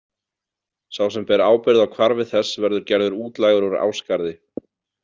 Sá sem ber ábyrgð á hvarfi þess verður gerður útlægur úr Ásgarði.